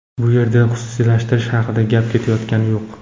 Bu yerda xususiylashtirish haqida gap ketayotgani yo‘q.